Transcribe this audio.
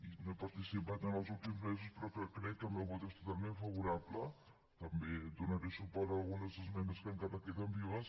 i no hi he participat en els últims mesos però crec que el meu vot és totalment favorable també donaré suport a algunes esmenes que encara queden vives